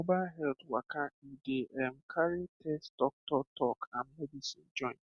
mobile health waka e dey ehm carry test doctor talk and medicine join